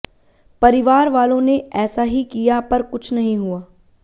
परिवार वालों ने ऐसा ही किया पर कुछ नहीं हुआ